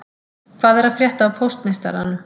Hvað er að frétta af póstmeistaranum